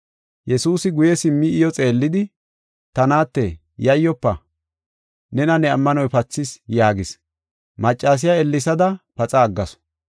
Yesuusi guye simmi iyo xeellidi, “Ta naatte, yayyofa! Nena ne ammanoy pathis” yaagis. Maccasiya ellesada paxa aggasu.